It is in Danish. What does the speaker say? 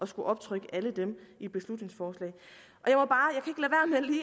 skulle optrykke alle dem i et beslutningsforslag